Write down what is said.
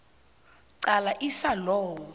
qala isa law